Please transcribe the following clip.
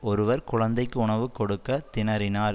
ஒருவர் குழந்தைக்கு உணவு கொடுக்க திணறினார்